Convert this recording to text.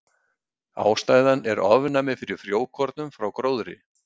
Ástæðan er ofnæmi fyrir frjókornum frá gróðri.